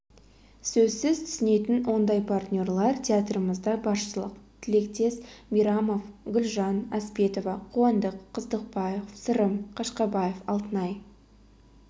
сөзсіз түсінетін ондай партнерлер театрымызда баршылық тілектес мейрамов гүлжан әспетова қуандық қыстықбаев сырым қашқабаев алтынай